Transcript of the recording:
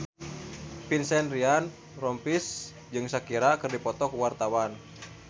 Vincent Ryan Rompies jeung Shakira keur dipoto ku wartawan